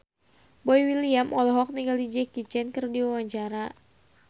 Boy William olohok ningali Jackie Chan keur diwawancara